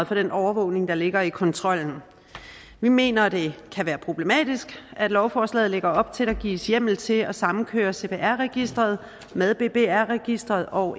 for den overvågning der ligger i kontrollen vi mener at det kan være problematisk at lovforslaget lægger op til at der gives hjemmel til at samkøre cpr registeret med bbr registeret og